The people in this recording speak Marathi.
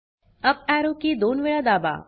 अप एरो की दोनवेळा दाबा